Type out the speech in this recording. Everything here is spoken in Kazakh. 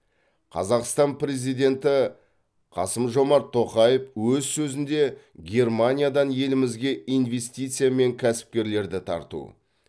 қазақстан президенті қасым жомарт тоқаев өз сөзінде германиядан елімізге инвестиция мен кәсіпкерлерді тарту